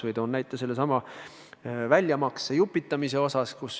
Toon näiteks kas või väljamakse jupitamise.